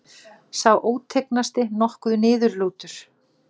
Sá ótignasti nokkuð niðurlútur.